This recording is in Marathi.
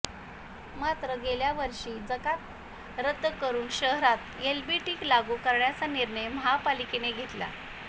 मात्र गेल्यावर्षी जकात रद्द करून शहरात एलबीटी लागू करण्याचा निर्णय महापालिकेने घेतला